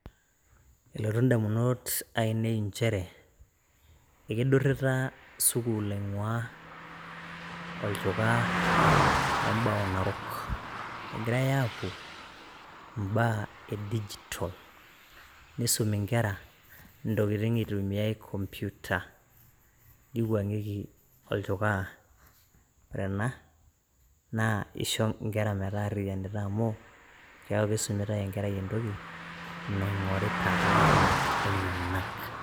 Elotu indamunot ainei inchere ekeidurita sukuul aing'uaa enchukaa embao narok, egirae aapuo imbaa e digital neisumi inkera intokitin eitumiae computer neiwuang'ieki olchukaa. Ore ena naa keisho inkera metaariyianita amuu keaku keisumitae enkerai entoki naing'orita too nkonyek enyenak.